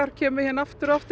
kemur hingað aftur og aftur